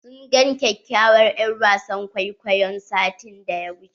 Sun gan kyakyawar er'wasan kwaikwayon satin da ya wuche.